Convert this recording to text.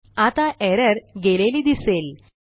आता एरर गेलेली दिसेल